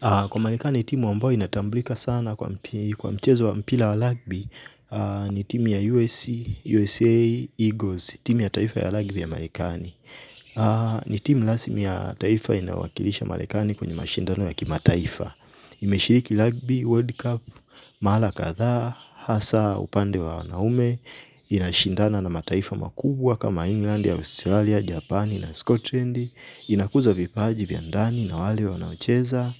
Kwa marekani, timu ambayo inatambulika sana kwa mchezo wa mpira wa ragbi, ni timu ya USA Eagles, timu ya taifa ya ragbi ya marekani. Ni timu rasmi ya taifa inayowakilisha marekani kwenye mashindano ya kimataifa. Imeshiriki ragbi, world cup, mara kadha, hasa, upande wa wanaume, inashindana na mataifa makubwa kama England, Australia, Japani na Scotland. Inakuza vipaji vya ndani na wale wanaocheza